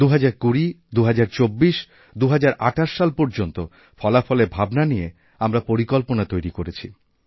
২০২০২০২৪ ২০২৮ সাল পর্যন্ত ফলাফলের ভাবনা নিয়ে আমরা পরিকল্পনা তৈরি করেছি